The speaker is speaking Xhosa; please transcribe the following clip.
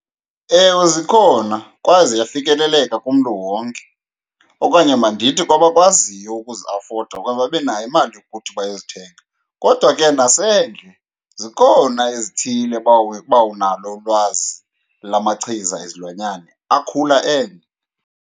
Ewe, zikhona kwaye ziyafikeleleka kumntu wonke, okanye mandithi kwabakwaziyo ukuziafoda okanye babe nayo imali yokuthi bayozithenga. Kodwa ke nasendle zikhona ezithile uba unalo ulwazi lamachiza ezilwanyane akhula endle.